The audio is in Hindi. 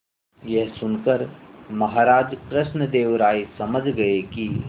यह सुनकर महाराज कृष्णदेव राय समझ गए कि